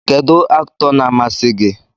Kedu Aktọ na amasi gi?